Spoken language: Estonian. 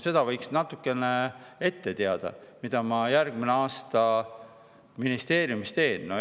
Seda võiks natukene ette teada, mida järgmine aasta ministeeriumis tehakse.